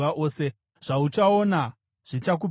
Zvauchaona zvichakupengesa.